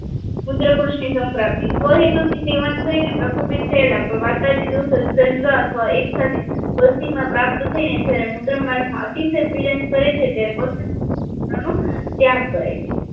મુત્રકુશની સમપ્રાપ્તિ સ્વહેતુથી સેવન થઈને પરકુંભીત થયેલા પ્રવાતા થી સજધજ એકસાથે કોથળી માં પ્રાપ્ત થઈને જ્યારે મૂત્રમળમા ત્યારે ત્યાગ કરે છે